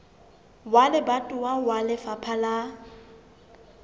wa lebatowa wa lefapha la